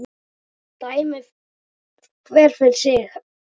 Dæmi hver fyrir sig!